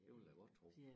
Det vil jeg da godt tro